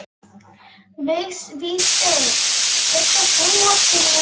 Vígsteinn, kveiktu á sjónvarpinu.